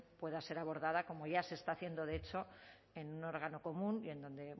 pueda ser abordada como ya se está haciendo de hecho en un órgano común y en donde